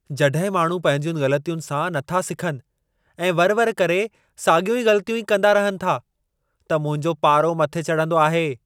जॾहिं माण्हू पंहिंजियुनि ग़लतियुनि सां न था सिखनि ऐं वर वर करे साॻियूं ग़लतियूं ई कंदा रहनि था, त मुंहिंजो पारो मथे चढंदो आहे।